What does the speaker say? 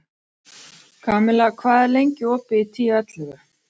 Kamilla, hvað er lengi opið í Tíu ellefu?